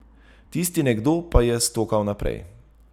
Tisti nekdo pa je stokal naprej.